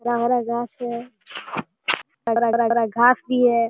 हरा-हरा घास है । हर-हर घास भी है ।